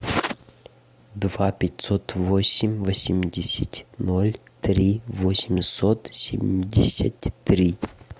два пятьсот восемь восемьдесят ноль три восемьсот семьдесят три